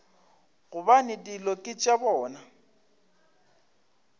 gobane dilo ke tša bona